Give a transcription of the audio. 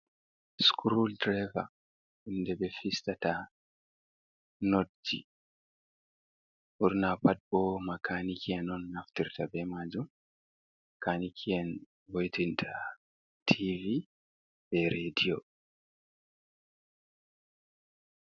Sukul diraiva hunde ɓe fistata notji ɓurna pat bo makaniki en on naftirta be majum kaniki en vo'itinta tivi be rediyo.